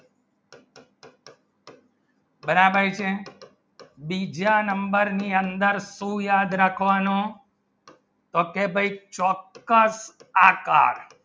બરાબર છે બીજા number ની અંદર શું યાદ રાખવાનો તો કે ભાઈ shortcut આગળ